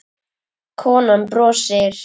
Konan brosir.